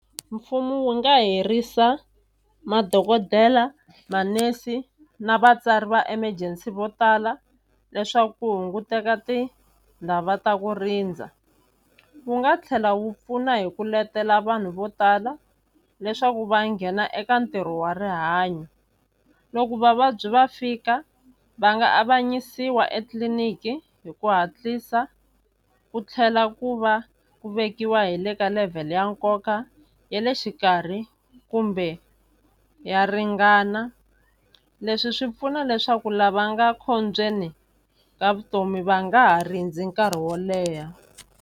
Mfumo wu nga herisa madokodela manese na vatsari va emergency vo tala leswaku ku hunguteka ta ku rindza wu nga tlhela wu pfuna hi ku letela vanhu vo tala leswaku va nghena eka ntirho wa rihanyo loko vavabyi va fika va nga avanyisiwa etliliniki hi ku hatlisa ku tlhela ku va ku vekiwa hi le ka level ya nkoka ya le xikarhi kumbe ya ringana leswi swi pfuna leswaku lava nga khombyeni ka vutomi va nga ha rindza nkarhi wo leha.